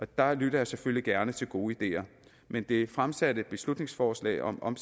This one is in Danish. der lytter jeg selvfølgelig gerne til gode ideer men det fremsatte beslutningsforslag om om